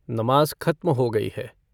नमाज खत्म हो गयी है।